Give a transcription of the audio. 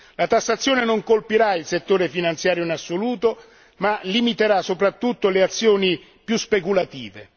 la tassazione non colpirà il settore finanziario in assoluto, ma limiterà soprattutto le azioni più speculative.